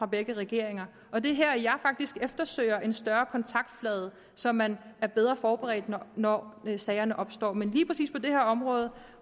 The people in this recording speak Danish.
begge regeringer og det er her jeg faktisk eftersøger en større kontaktflade så man er bedre forberedt når sagerne opstår men lige præcis på det her område